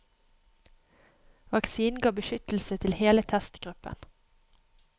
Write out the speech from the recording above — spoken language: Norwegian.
Vaksinen ga beskyttelse til hele testgruppen.